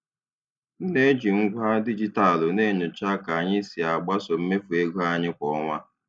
M na-eji ngwa dijitalụ na-enyocha ka anyị si agbaso mmefu ego anyị kwa ọnwa.